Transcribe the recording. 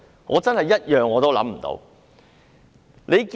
我真的一點也想不到。